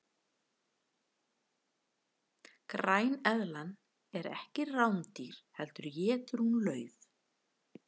græneðlan er ekki rándýr heldur étur hún lauf